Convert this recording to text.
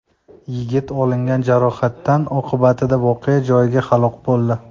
Yigit olingan jarohatlar oqibatida voqea joyida halok bo‘ldi.